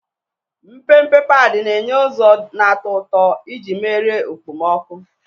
Mpempe padi na-enye ụzọ na-atọ ụtọ iji merie okpomọkụ.